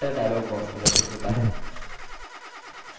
character dialog box प्रदर्शित होता है